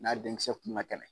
N'a denmuso kun kɛnɛ